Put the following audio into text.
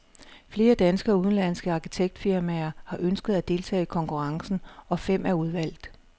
Flere danske og udenlandske arkitektfirmaer har ønsket at deltage i konkurrencen, og fem er udvalgt.